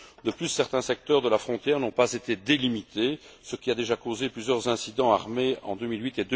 De plus, certains secteurs de la frontière n'ont pas été délimités, ce qui a déjà causé plusieurs incidents armés en 2008